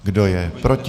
Kdo je proti?